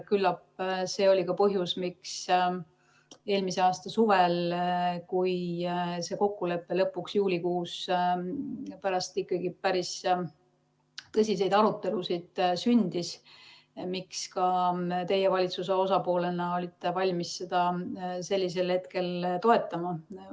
Küllap see oli ka põhjus, miks eelmise aasta suvel, kui see kokkulepe lõpuks juulikuus pärast ikkagi päris tõsiseid arutelusid sündis, ka teie valitsuse osapoolena olite valmis seda sel hetkel toetama.